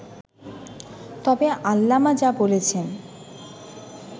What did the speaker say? তবে আল্লামা যা বলেছে